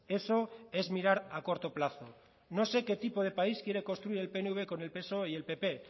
eso es mirar a corto plazo no sé qué tipo de país quiere construir el pnv con el psoe y el pp